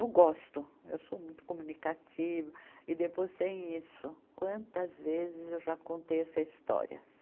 Eu gosto, eu sou muito comunicativa, e depois sem isso, quantas vezes eu já contei essa história?